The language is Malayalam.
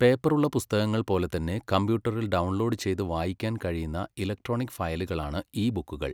പേപ്പറുള്ള പുസ്തകങ്ങൾ പോലെ തന്നെ കമ്പ്യൂട്ടറിൽ ഡൗൺലോഡ് ചെയ്ത് വായിക്കാൻ കഴിയുന്ന ഇലക്ട്രോണിക് ഫയലുകളാണ് ഇ ബുക്കുകൾ.